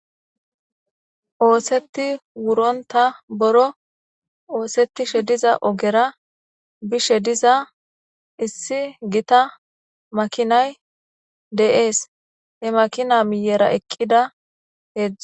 Oosetti wuronta boro oosetishe diza ogera bishe diza issi gita makinay de7ees he makina miyera eqqida heedzdzu.